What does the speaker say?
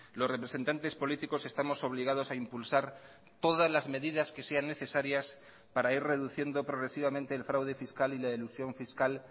los representantes políticos estamos obligados a impulsar todas las medidas que sean necesarias para ir reduciendo progresivamente el fraude fiscal y la elusión fiscal